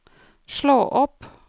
slå opp